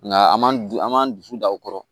Nka an m'an du an m'an dusu da o kɔrɔ